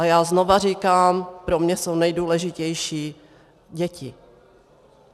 A já znovu říkám, pro mě jsou nejdůležitější děti.